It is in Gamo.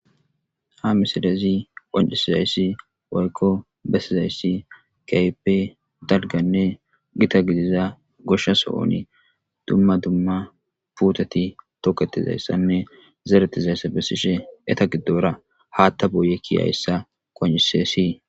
ha misilezi qancisizayssi woykko bessizayssi keype dalganne gita gidiza goshsha so7oni dumma dumma puutati toketizayssanne zeretizayssa bessishe eta giddora haatta boye kiyayssa qoncise sii